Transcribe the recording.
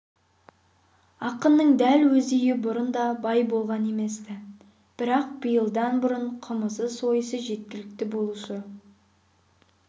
ақынның дәл өз үйі бұрын да бай болған емес-ті бірақ биылдан бұрын қымызы сойысы жеткілікті болушы